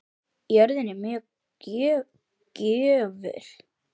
Jörðin er mjög gjöful.